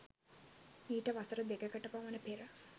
මීට වසර දෙකකටපමන පෙර